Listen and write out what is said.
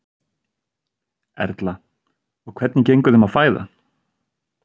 Erla: Og hvernig gengur þeim að fæða?